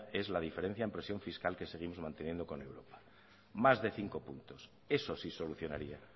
es la diferencia en presión fiscal que seguimos manteniendo con europa más de cinco puntos eso sí solucionaría